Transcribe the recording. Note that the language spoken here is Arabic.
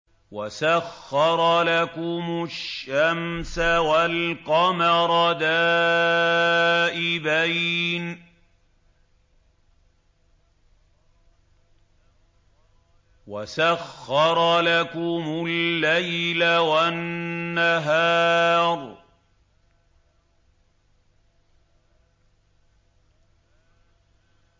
وَسَخَّرَ لَكُمُ الشَّمْسَ وَالْقَمَرَ دَائِبَيْنِ ۖ وَسَخَّرَ لَكُمُ اللَّيْلَ وَالنَّهَارَ